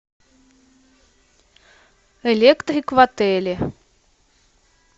электрик в отеле